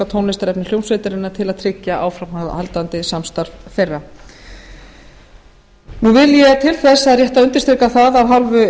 á tónlistarefni hljómsveitarinnar til að tryggja áframhaldandi samstarf þeirra vilji er til þess það er rétt að undirstrika það af hálfu